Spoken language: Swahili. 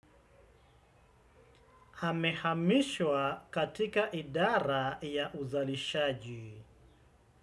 Amehamishwa katika idara ya uzalishaji.